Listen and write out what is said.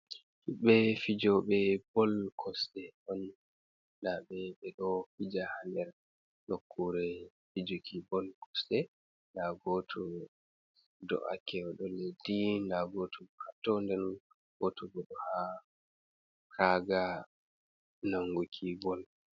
Himɓɓe fijoɓe bol kosɗe on nda be ɓe ɗo fija ha nder nokkure fijuki bol kosɗe, nda goto do’ake o ɗo leddi nda goto ha to, den goto bo ɗo ha raga nanguki bol.